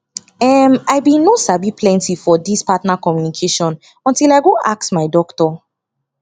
em i been no sabi plenty for this partner communication until i go ask my doctor